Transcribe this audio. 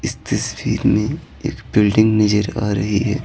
इस तस्वीर में एक बिल्डिंग नजर आ रही है।